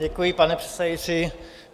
Děkuji, pane předsedající.